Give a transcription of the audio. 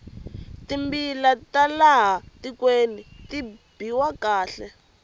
timbila ta laha tikweni ti biwa kahle